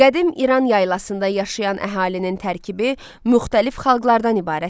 Qədim İran yaylasında yaşayan əhalinin tərkibi müxtəlif xalqlardan ibarət idi.